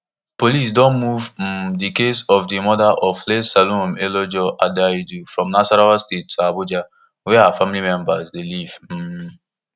police don move um di case of di murder of late salome eleojo adaidu from nasarawa state to abuja wia her family dey live um